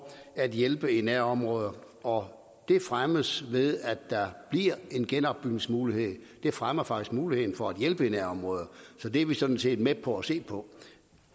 at hjælpe i nærområder og det fremmes ved at der bliver en genopbygningsmulighed det fremmer faktisk muligheden for at hjælpe i nærområderne så det er vi sådan set med på at se på